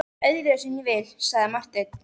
Það er öðruvísi en ég vil, sagði Marteinn.